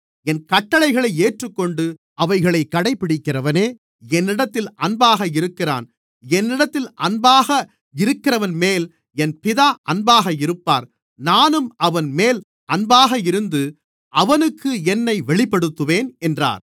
என் கட்டளைகளை ஏற்றுக்கொண்டு அவைகளைக் கடைபிடிக்கிறவனே என்னிடத்தில் அன்பாக இருக்கிறான் என்னிடத்தில் அன்பாக இருக்கிறவன்மேல் என் பிதா அன்பாக இருப்பார் நானும் அவன்மேல் அன்பாக இருந்து அவனுக்கு என்னை வெளிப்படுத்துவேன் என்றார்